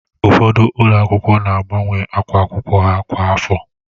Ụfọdụ ụlọ akwụkwọ na agbanwe akwa akwụkwọ ha kwa afọ